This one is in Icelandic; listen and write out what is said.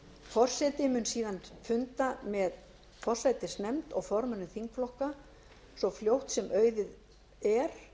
forseti mun síðan funda með forsætisnefnd og formönnum þingflokka svo fljótt sem auðið er